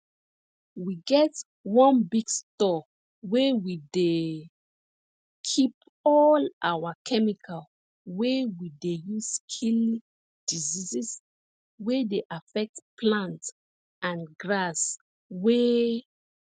we get one big store wey we dey keep all our chemical wey we dey use kill diseases wey dey affect plants and grass wey